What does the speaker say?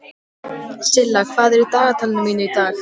Það væri ekki ónýtt, finnst ykkur?